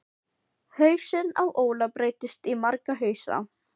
Hausinn á Óla breytist í marga hausa.